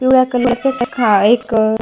पिवळ्या कलर चा एक --